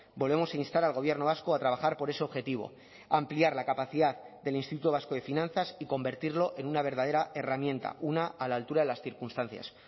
volvemos a instar al gobierno vasco a trabajar por ese objetivo ampliar la capacidad del instituto vasco de finanzas y convertirlo en una verdadera herramienta una a la altura de las circunstancias